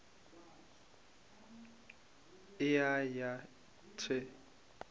e a ya th e